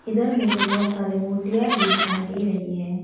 इधर मुझे बहोत सारे मूर्तियां भी दिखाई दे रही हैं।